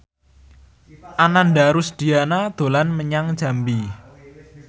Ananda Rusdiana dolan menyang Jambi